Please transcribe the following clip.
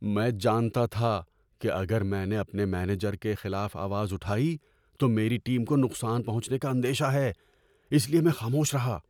‏میں جانتا تھا کہ اگر میں نے اپنے مینیجر کے خلاف آواز اٹھائی تو میری ٹیم کو نقصان پہنچنے کا اندیشہ ہے، اس لیے میں خاموش رہا۔